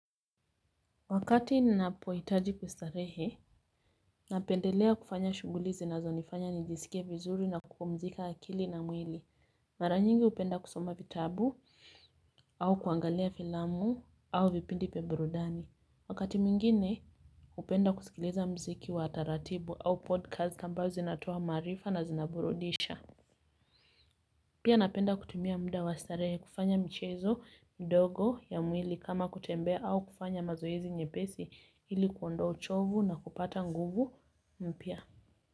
Wakati na pohitaji kustarehe, napendelea kufanya shughuli zinazo nifanya nijisike vizuri na kupumzika akili na mwili. Mara nyingi hupenda kusoma vitabu au kuangalia filamu au vipindi vya burudani. Wakati mwingine, hupenda kusikiliza muziki wa taratibu au podcast ambazo zinatoa maarifa na zinaburudisha. Pia napenda kutimia muda wastarehe kufanya michezo midogo ya mwili kama kutembe au kufanya mazoezi nyepesi ili kuondoa uchovu na kupata nguvu mpya.